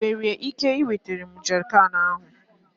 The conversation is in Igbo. ị nwere ike iwetara m jerrycan ahụ?